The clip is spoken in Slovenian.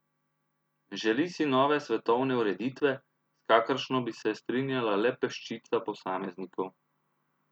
Želi si nove svetovne ureditve, s kakršno bi se strinjala le peščica posameznikov.